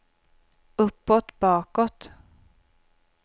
uppåt bakåt